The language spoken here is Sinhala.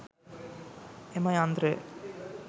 එම යන්ත්‍රය